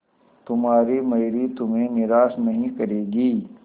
तुम्हारी मयूरी तुम्हें निराश नहीं करेगी